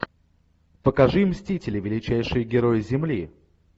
покажи мстители величайшие герои земли